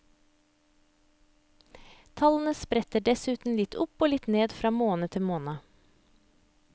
Tallene spretter dessuten litt opp og litt ned fra måned til måned.